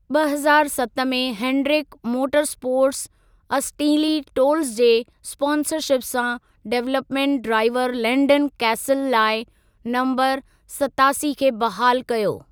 ॿ हज़ारु सत मे हेनडरिक मोटरस्पोर्ट्स असटींली टोल्ज़ जे स्पॉन्सरशिप सां डेवलपमेंट ड्राईवरु लैन्डन कैसल लाइ नम्बरु सतासी खे बहाल कयो।